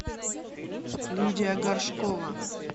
лидия горшкова